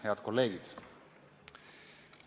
Head kolleegid!